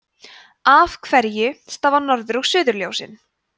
af hverju stafa norður og suðurljósin